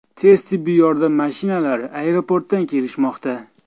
Tez tibbiy yordam mashinalari aeroportdan kelishmoqda.